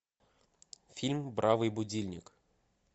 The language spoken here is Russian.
фильм бравый будильник